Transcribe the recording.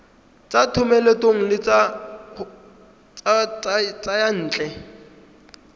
tsa thomeloteng le tsa diyantle